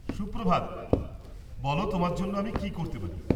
সুপ্রভাত, বলো তোমার জন্য আমি কি করতে পারি?